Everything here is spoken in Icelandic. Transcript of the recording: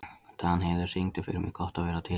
Danheiður, syngdu fyrir mig „Gott að vera til“.